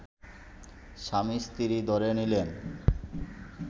স্বামী-স্ত্রী ধরে নিলেন